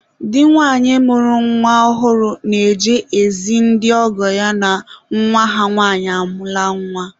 Di nwanyị mụrụ nwa ọhụrụ na-eje ezi ndị ọgọ ya na nwa ha nwanyị amụọla nwa.